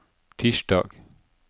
tirsdag